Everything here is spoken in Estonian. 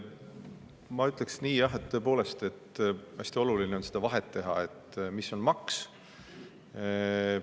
Ma ütleksin nii, et tõepoolest, hästi oluline on teha vahet, mis on maks.